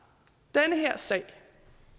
nej den her sag